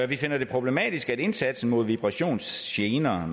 vi finder det problematisk at indsatsen mod vibrationsgener